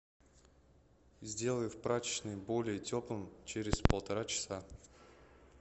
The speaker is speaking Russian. сделай в прачечной более теплым через полтора часа